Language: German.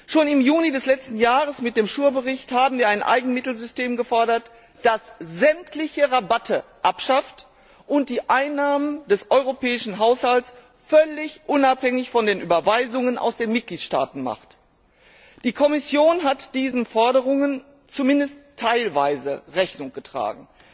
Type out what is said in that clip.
Wir haben schon im Juni des letzten Jahres mit dem SURE Bericht ein Eigenmittelsystem gefordert, das sämtliche Rabatte abschafft und die Einnahmen des Europäischen Haushalts völlig unabhängig von den Überweisungen aus den Mitgliedstaaten macht. Die Kommission hat diesen Forderungen zumindest teilweise Rechnung getragen.